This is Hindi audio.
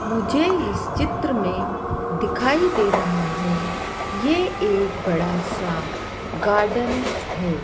मुझे इस चित्र में दिखाई दे रहा है ये एक बड़ा सा गार्डन है।